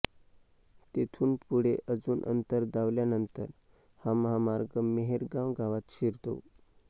तेथुनपुढे अजुन अंतर धावल्यानंतर हा महामार्ग मेहेरगाव गावात शिरतो